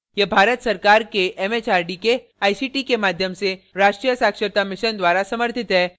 यह भारत सरकार के एमएचआरडी के आईसीटी के माध्यम से राष्ट्रीय साक्षरता mission द्वारा समर्थित है